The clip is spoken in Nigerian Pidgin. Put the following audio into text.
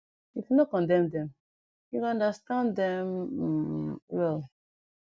if u no condem dem u go understand dem um well